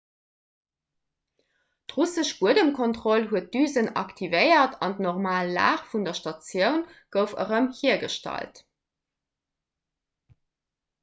d'russesch buedemkontroll huet d'düsen aktivéiert an d'normal lag vun der statioun gouf erëm hiergestallt